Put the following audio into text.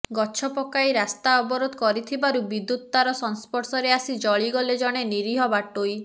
ଗଛ ପକାଇ ରାସ୍ତା ଅବରୋଧ କରିଥିବାରୁ ବିଦ୍ୟୁତ୍ ତାର ସଂଶ୍ପର୍ଷରେ ଆସି ଜଳିଗଲେ ଜଣେ ନିରୀହ ବାଟୋଇ